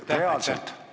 Aitäh!